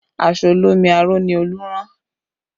Aṣọ olómi aró ni Olú rán